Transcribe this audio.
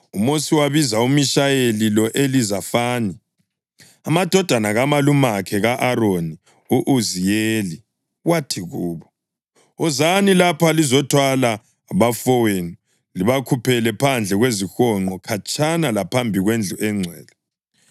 UMosi wabiza uMishayeli lo-Elizafani amadodana kamalumakhe ka-Aroni u-Uziyeli, wathi kubo, “Wozani lapha lizothwala abafowenu libakhuphele phandle kwezihonqo, khatshana laphambi kwendlu engcwele.”